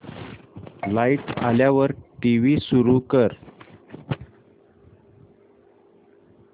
light आल्यावर TV सुरू कर